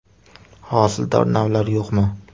Hosildor navlar yo‘qmi?